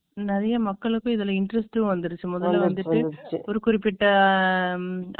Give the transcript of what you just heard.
நிறைய மக்களுக்கும், இதுல interest உம் வந்துருச்சு, முதல்ல வந்துட்டு. ஒரு குறிப்பிட்ட